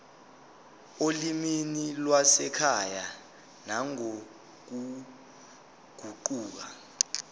olimini lwasekhaya nangokuguquka